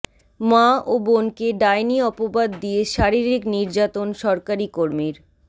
মা ও বোনকে ডাইনি অপবাদ দিয়ে শারীরিক নির্যাতন সরকারি কর্মীর